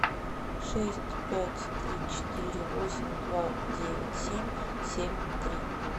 шесть пять три четыре восемь два девять семь семь три